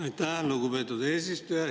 Aitäh, lugupeetud eesistuja!